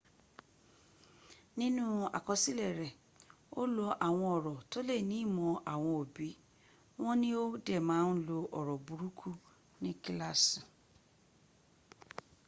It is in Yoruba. ninu ikosile re o lo awon oro to le ni imo awon obi won ni o de ma n lo oro buruku ni kilaasi